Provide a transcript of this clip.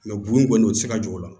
bon kɔni o tɛ se ka jɔ o la